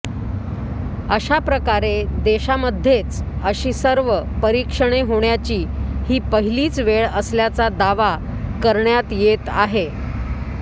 अशा प्रकारे देशामध्येच अशी सर्व परीक्षणे होण्याची ही पहिलीच वेळ असल्याचा दावा करण्यात येत आहे